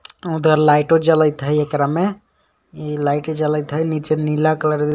उधर लाइटो जलत है एकरा में इ लाइट जलइत है नीचे कलर --